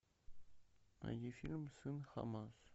найди фильм сын хамас